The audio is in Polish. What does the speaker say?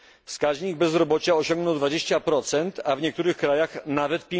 Wskaźnik bezrobocia osiągnął 20, a w niektórych krajach nawet